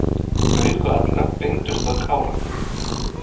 Augu allra beindust að Kára.